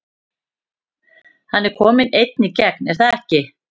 Hann er kominn einn í gegn er það ekki?